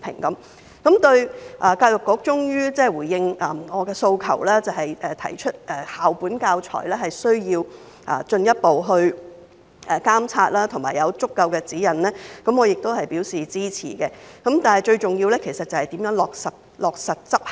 對於教育局終於回應我的訴求，提出需要進一步監察校本教材，以及有足夠的指引，我亦表示支持，但最重要是如何落實執行。